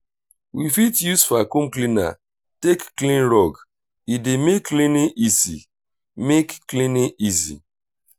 we fit use vaccum cleaner take clean rug e dey make cleaning easy make cleaning easy